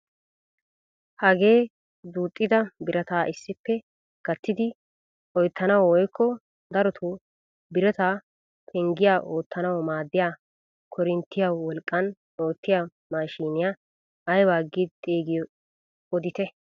Hagee duuxxida birataa issippe gattidi oyttanawu woykko darotoo birata prnggiyaa oottanawu maaddiyaa korinttiyaa wolqqan oottiyaa maashiniyaa aybaa giidi xeegiyoo odite?